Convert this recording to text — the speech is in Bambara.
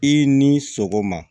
I ni sogoma